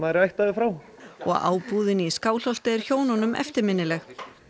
er ættaður frá og ábúðin í Skálholti er hjónunum eftirminnileg